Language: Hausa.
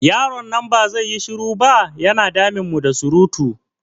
Yaron nan ba zai yi shiru ba? Ya na damun mu da surutu.